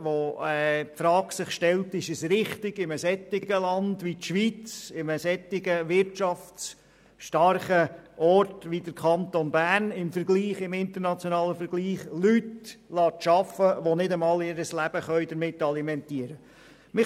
Insofern muss man sich die Frage stellen, ob es richtig ist, in einem Land wie der Schweiz an einem wirtschaftsstarken Ort wie im Kanton Bern im internationalen Vergleich Leute arbeiten zu lassen, die nicht einmal ihr Leben damit alimentieren können.